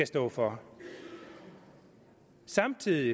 står for samtidig